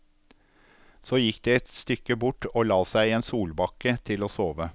Så gikk de et stykke bort og la seg i en solbakke til å sove.